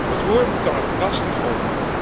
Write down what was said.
Het roer moet dan ook drastisch om.